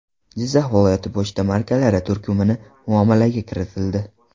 Jizzax viloyati” pochta markalari turkumi muomalaga kiritildi.